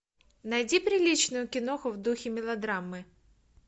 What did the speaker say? найди приличную киноху в духе мелодрамы